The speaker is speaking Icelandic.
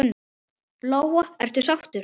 Lóa: Ert þú sáttur?